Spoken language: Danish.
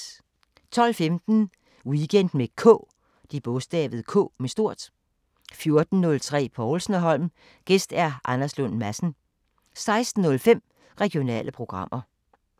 12:15: Weekend med K 14:03: Povlsen & Holm: Gæst Anders Lund Madsen 16:05: Regionale programmer